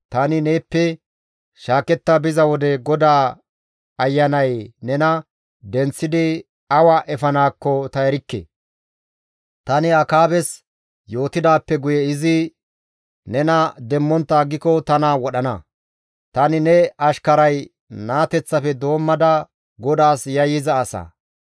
Tani neeppe shaaketta biza wode GODAA Ayanay nena denththidi awa efanaakko ta erikke; tani Akaabes yootidaappe guye izi nena demmontta aggiko tana wodhana; tani ne ashkaray naateththafe doommada GODAAS yayyiza asa.